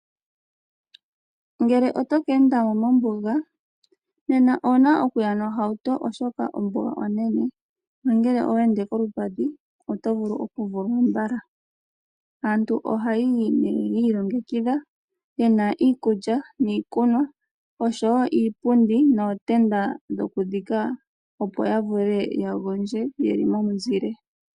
Ngele otoka endamo mombuga , nena owuna okuya nohauto oshoka ombuga onene. No ngele owa ende kolupadhi oto vulu oku vulwa mbala. Aantu ohaayi nee yi ilongekidha yena iikulya niikunwa osho wo iipundi nootenda dhoku dhika opo ya vule ya gondje yeli momuzile.